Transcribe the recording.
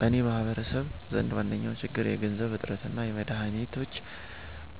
በኔ ማህበረሰብ ዘንድ ዋነኛዉ ችግር የገንዘብ እጥረትና የመድሀኒቶች